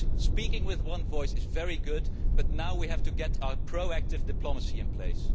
Speaking with one voice is very good, but now we have to get our proactive diplomacy in place.